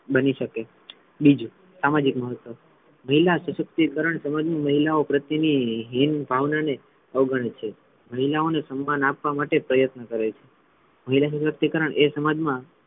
બની શકે છે. બીજુ સામાજિક મહત્વ મહિલા સશક્તિકરણ સમાજમાં મહિલાઓ પ્રત્યેની હીન ભાવના ને અવગણે છે મહિલાઓ ને સન્માન આપવા માટે પ્રયત્ન કરે છે મહિલા સશક્તિકરણ એ સમાજ મા,